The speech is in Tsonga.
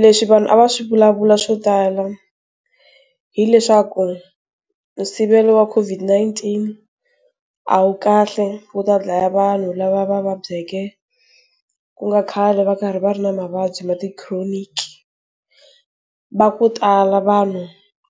Leswi vanhu a va swi vulavula swo tala, hileswaku, sivelo wa COVID-19, a wu kahle wu ta dlaya vanhu lava va va byaleke, ku nga khale va karhi va ri na mavabyi ma ti chronic. Va ku tala vanhu